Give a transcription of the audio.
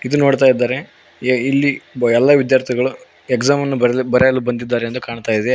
ಇದು ನೋಡ್ತಾ ಇದಾರೆ ಇಲ್ಲಿ ಎಲ್ಲಾ ವಿದ್ಯಾರ್ಥಿಗಳು ಎಕ್ಸಾಮ್ ಅನ್ನು ಬರೇ ಬರೆಯಲು ಬಂದಿದ್ದಾರೆ ಎಂದು ಕಾಣ್ತಾ ಇದೆ.